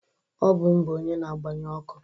Ọ bụ m bụ onye na-agbanye ọkụ